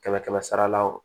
Kɛmɛ kɛmɛ sarala wo